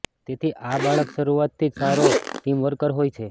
તેથી આ બાળક શરૂઆતથી જ સારો ટીમ વર્કર હોય છે